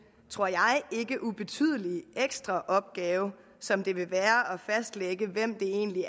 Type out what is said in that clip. tror jeg ikke ubetydelige ekstra opgave som det vil være at fastlægge hvem det egentlig